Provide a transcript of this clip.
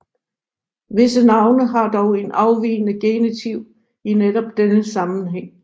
Visse navne har dog en afvigende genitiv i netop denne sammenhæng